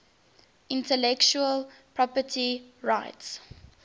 intellectual property rights